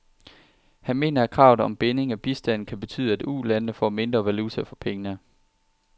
Han mener, at kravet om binding af bistanden kan betyde, at ulandene får mindre valuta for pengene.